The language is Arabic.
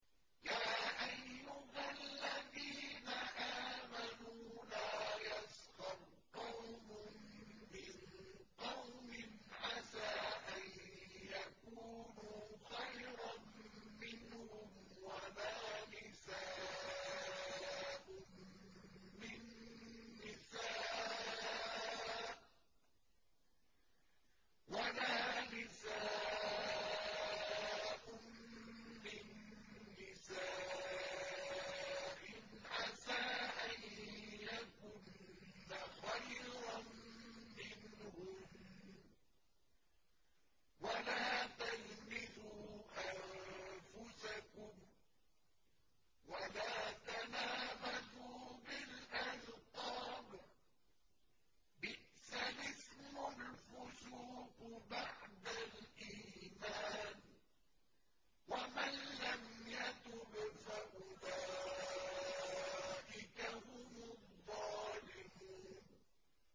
يَا أَيُّهَا الَّذِينَ آمَنُوا لَا يَسْخَرْ قَوْمٌ مِّن قَوْمٍ عَسَىٰ أَن يَكُونُوا خَيْرًا مِّنْهُمْ وَلَا نِسَاءٌ مِّن نِّسَاءٍ عَسَىٰ أَن يَكُنَّ خَيْرًا مِّنْهُنَّ ۖ وَلَا تَلْمِزُوا أَنفُسَكُمْ وَلَا تَنَابَزُوا بِالْأَلْقَابِ ۖ بِئْسَ الِاسْمُ الْفُسُوقُ بَعْدَ الْإِيمَانِ ۚ وَمَن لَّمْ يَتُبْ فَأُولَٰئِكَ هُمُ الظَّالِمُونَ